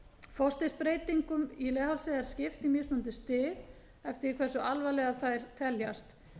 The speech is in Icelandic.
forstigsbreytingum í leghálsi er skipt í mismunandi stig eftir því hversu alvarlegar þær teljast